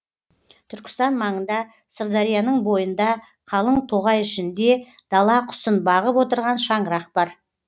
түркістан маңында сырдарияның бойында қалың тоғай ішінде дала құсын бағып отырған шаңырақ бар